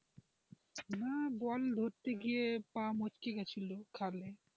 না বল ধরতে গিয়ে পা মুচকে গেছিল খালে।